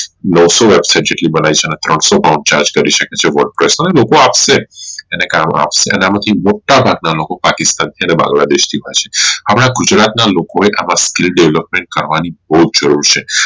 નવસો website જેટલી બનાવી છે અને ત્રણસો pound charge કરી શકે છે અને લોકો આપશે અને આમાંથી મોટા ભાગ ના લોકો પાકિસ્તાન માં અને બાંગ્લા દેશ માં છે હવે ગુજરાત ના લોકો એ skill develop કરવાની બોવ જ જરૂર છે